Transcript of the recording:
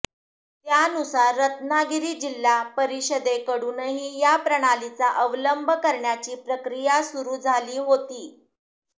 त्यानुसार रत्नागिरी जिल्हा परिषदेकडूनही या प्रणालीचा अवलंब करण्याची प्रक्रिया सुरू झाली होती